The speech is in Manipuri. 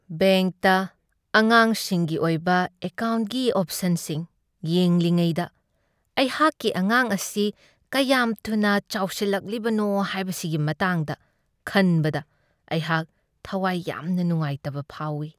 ꯕꯦꯡꯛꯇ ꯑꯉꯥꯡꯁꯤꯡꯒꯤ ꯑꯣꯏꯕ ꯑꯦꯀꯥꯎꯟꯀꯤ ꯑꯣꯞꯁꯟꯁꯤꯡ ꯌꯦꯡꯂꯤꯉꯩꯗ ꯑꯩꯍꯥꯛꯀꯤ ꯑꯉꯥꯡ ꯑꯁꯤ ꯀꯌꯥꯝ ꯊꯨꯅ ꯆꯥꯎꯁꯤꯜꯂꯛꯂꯤꯕꯅꯣ ꯍꯥꯏꯕꯁꯤꯒꯤ ꯃꯇꯥꯡꯗ ꯈꯟꯕꯗ ꯑꯩꯍꯥꯛ ꯊꯋꯥꯏ ꯌꯥꯝꯅ ꯅꯨꯡꯉꯥꯏꯇꯕ ꯐꯥꯎꯢ ꯫